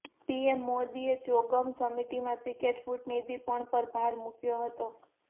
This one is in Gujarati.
પીએમ મોદીએ ચોગમ સમિટમાં ક્રિકેટ કૂટનીતિ પર પણ ભાર મૂક્યો હતો